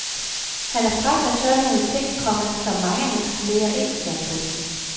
Han er fræk og tør nogle ting, komma som mange af hans kolleger ikke tør. punktum